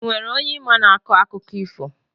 Enwere onye ị ma na-akọ akụkọ ifo?